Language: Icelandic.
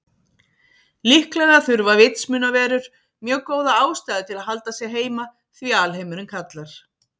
Líklega þurfa vitsmunaverur mjög góða ástæðu til að halda sig heima því alheimurinn kallar.